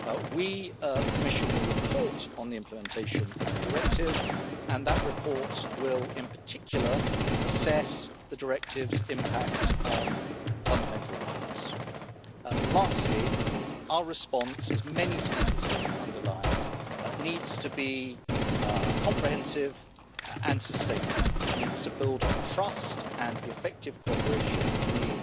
We, the Commission, will report on the implementation of the directive and that report will in particular assess the directive's impact on fundamental rights. Lastly, our response, as many speakers have underlined, needs to be comprehensive and sustainable. It needs to build on trust and effective cooperation between